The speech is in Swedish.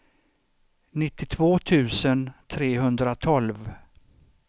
nittiotvå tusen trehundratolv